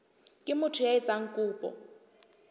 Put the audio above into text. ke motho ya etsang kopo